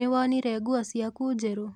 Nĩwonire nguo ciaku njerũ?